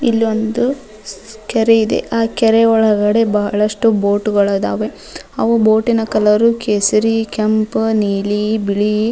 ಇಲ್ಲಿ ಒಂದು ಕೆರೆ ಇದೆ ಆ ಕೆರೆ ಒಳಗೆ ಬಹಳಷ್ಟು ಬೋಟ್ ಗಳಾದಾವು ಅವು ಬೋಟಿನ ಕಲರ್ ಕೇಸರಿ ಕೆಂಪು ನೀಲಿ ಬಿಳಿ --